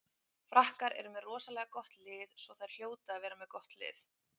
Frakkar eru með rosalega gott lið svo þær hljóta að vera með gott lið.